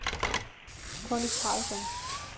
Conny Carlsson